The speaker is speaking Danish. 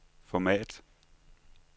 format